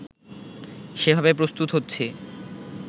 সেভাবে প্রস্তুত হচ্ছি